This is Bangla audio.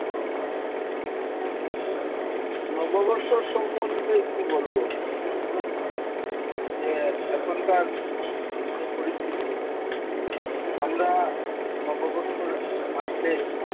নববর্ষর সম্বন্ধে কি বলবো? নববর্ষর যে এখনকার যে পরিস্থিতি, আমরা নববর্ষর আসলে,